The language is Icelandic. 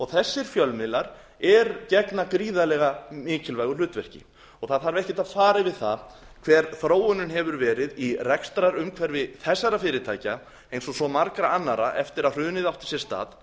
þessir fjölmiðla gegna gríðarlega mikilvægu hlutverki það þarf ekkert að fara yfir það hver þróunin hefur verið í rekstrarumhverfi þessara fyrirtækja eins og svo margra annarra eftir að hrunið átti sér stað